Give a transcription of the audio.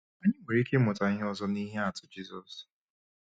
Anyị nwere ike ịmụta ihe ọzọ n’ihe atụ Jizọs.